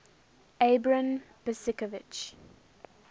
abram besicovitch